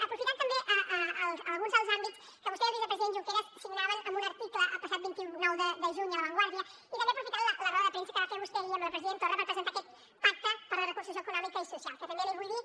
aprofitant també alguns dels àmbits que vostè i el vicepresident junqueras signaven en un article el passat vint nou de juny a la vanguardiai també aprofitant la roda de premsa que va fer vostè ahir amb el president torra per presentar aquest pacte per la reconstrucció econòmica i social que també li vull dir